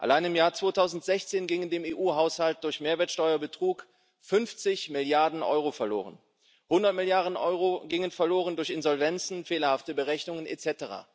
Allein im Jahr 2016 gingen dem EU Haushalt durch Mehrwertsteuerbetrug 50 Milliarden Euro verloren, 100 Milliarden Euro gingen verloren durch Insolvenzen, fehlerhafte Berechnungen etc.